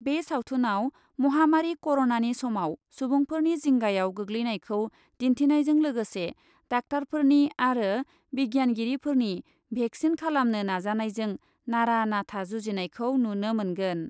बे सावथुनआव महामारि क'रनानि समाव सुबुंफोरनि जिंगायाव गोग्लैनायखौ दिन्थिनायजों लोगोसे डाक्टारफोरनि आरो बिगियानगिरिफोरनि भेक्सिन खालामनो नाजानायजों नारा नाथा जुजिनायखौ नुनो मोनगोन।